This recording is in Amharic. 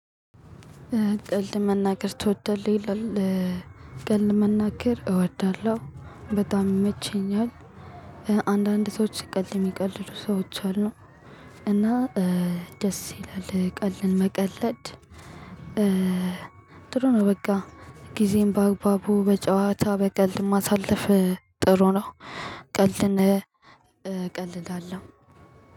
ቀልድ መናገር ትወዳለህ ይላል? ቀልድ መናገር እወዳለሁ በጣም ይመቸኛል። አንዳንድ ሰዎች ቀልድ የሚቀልዱ ሰዎች አሉ። እና ደስ ይላል ቀልድን መቀለድ ጥሩ ነው። በቃ ጊዜን ባግባቡ በጨዋታ በቀልድ ማሳለፍ ጥሩ ነው። ቀልድን እቀልዳለሁ